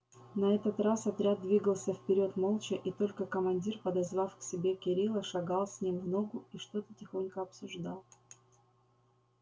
на этот раз отряд двигался вперёд молча и только командир подозвав к себе кирилла шагал с ним в ногу и что-то тихонько обсуждал